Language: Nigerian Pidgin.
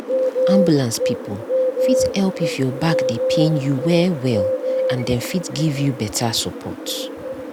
ambulance people fit help if your back dey pain you well well and dem fit give you better support.